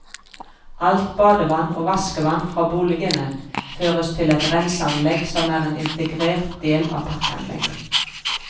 Alt badevann og vaskevann fra boligene føres til et renseanlegg som er en integrert del av parkanlegget.